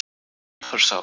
Úlfarsá